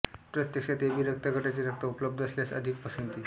प्रत्यक्षात एबी रक्तगटाचे रक्त उपलब्ध असल्यास अधिक पसंती